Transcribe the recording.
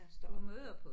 Står op